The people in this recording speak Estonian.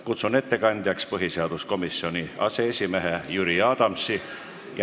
Kutsun siia ettekandjaks põhiseaduskomisjoni aseesimehe Jüri Adamsi.